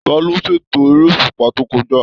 Taló ṣ'ètò èrè òṣùpá to kọjá?